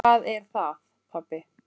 Hvað er það, pabbi?